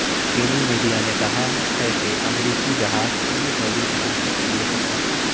چینی میڈیا نے کہا ہے کہ امریکی جہاز چینی فوجی سلامتی کے لیے خطرہ تھا